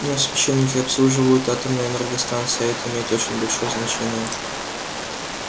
но священники обслуживают атомные энергостанции а это имеет очень большое значение